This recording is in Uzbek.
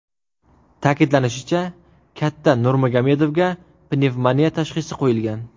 Ta’kidlanishicha, katta Nurmagomedovga pnevmoniya tashhisi qo‘yilgan.